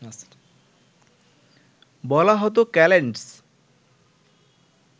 বলা হত ক্যালেন্ডস